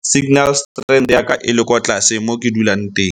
signal strength ya ka e le kwa tlase mo ke dulang teng.